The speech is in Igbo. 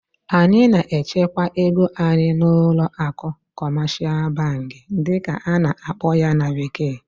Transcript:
anyị na-echekwa ego anyị n'ụlọ akụ "commercial bank" dịka a na-akpọ ya na bekee